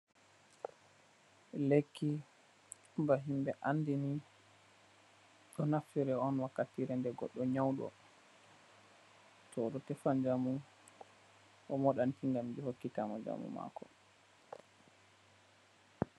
Lekki ba himbe andi ni ɗo naftire on wakkitire nde goɗɗo nyauɗo. To odo tefa njamu, o modanki ngam hokkitamo njamu mako.